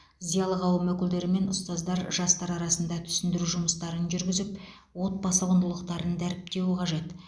зиялы қауым өкілдері мен ұстаздар жастар арасында түсіндіру жұмыстарын жүргізіп отбасы құндылықтарын дәріптеуі қажет